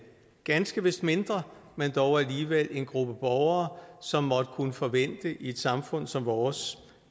ganske vist mindre men dog alligevel en gruppe af borgere som måtte kunne forvente i et samfund som vores